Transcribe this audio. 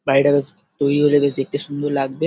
বাড়িটা বেশ তৈরি হলে বেশ দেখতে সুন্দর লাগবে।